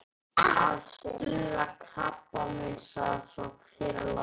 Að stuðla að krabbameinsrannsóknum hér á landi.